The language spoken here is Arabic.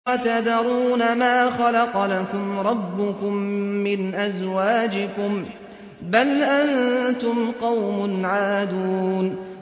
وَتَذَرُونَ مَا خَلَقَ لَكُمْ رَبُّكُم مِّنْ أَزْوَاجِكُم ۚ بَلْ أَنتُمْ قَوْمٌ عَادُونَ